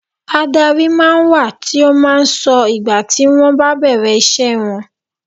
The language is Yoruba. Adárí máa ń wà tí ó máa ń sọ ìgbà tí wọn bá bẹ̀rẹ̀ ìṣe wọn.